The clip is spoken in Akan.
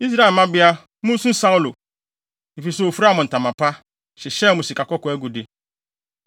“Israel mmabea, munsu Saulo, efisɛ ofuraa mo ntama pa, hyehyɛɛ mo sikakɔkɔɔ agude.